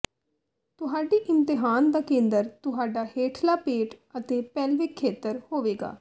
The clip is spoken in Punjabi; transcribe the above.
ਤੁਹਾਡੀ ਇਮਤਿਹਾਨ ਦਾ ਕੇਂਦਰ ਤੁਹਾਡਾ ਹੇਠਲਾ ਪੇਟ ਅਤੇ ਪੈਲਵਿਕ ਖੇਤਰ ਹੋਵੇਗਾ